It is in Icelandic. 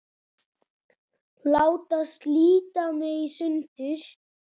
Láta slíta mig í sundur.